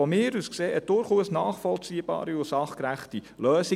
Aus meiner Sicht wäre dies durchaus eine nachvollziehbare und sachgerechte Lösung.